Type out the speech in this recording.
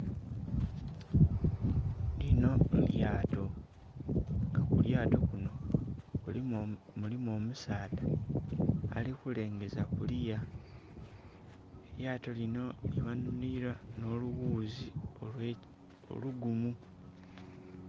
Linho lyato nga kulyato kunho mulimu omusaadha ali kulengeza kuluya, elyato linho lighanhililwa nho lughuzi olugumu.